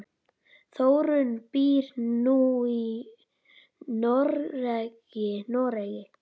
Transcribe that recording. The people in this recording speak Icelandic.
Þórunn býr nú í Noregi.